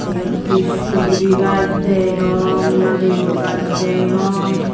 eyot he subori gaj degong narikul gaj degong.